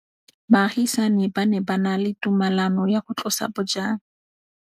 Baagisani ba ne ba na le tumalanô ya go tlosa bojang.